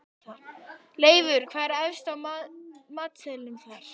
Leifur, hvað er efst á matseðlinum þar?